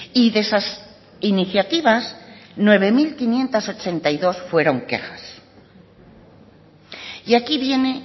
y de esas iniciativas nueve mil quinientos ochenta y dos fueron quejas y aquí viene